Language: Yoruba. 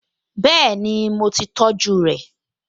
Bẹ́ẹ̀ni, mo ti tọjú rẹ̀?